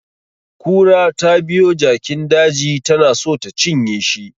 Kura tabiyo jakin daji tana so ta cinye shi